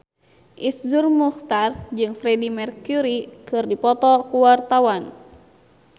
Iszur Muchtar jeung Freedie Mercury keur dipoto ku wartawan